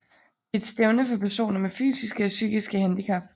Det er et stævne for personer med fysiske og psykiske handicap